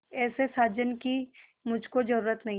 ऐसे साजन की मुझको जरूरत नहीं